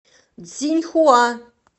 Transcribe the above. цзиньхуа